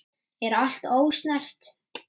Er allt ósnert?